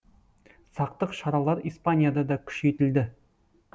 сақтық шаралары испанияда да күшейтілді